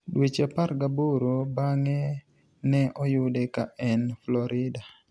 Dweche 18 banig'e, ni e oyude ka eni Florida.